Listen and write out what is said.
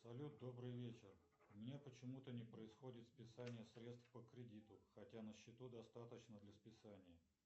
салют добрый вечер у меня почему то не происходит списание средств по кредиту хотя на счету достаточно для списания